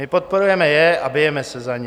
My podporujeme je a bijeme se za ně.